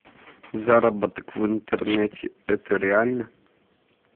заработок в интернете это реально